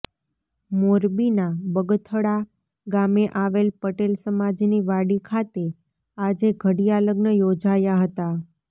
મોરબીના બગથળા ગામે આવેલ પટેલ સમાજની વાડી ખાતે આજે ઘડિયા લગ્ન યોજાયા હતા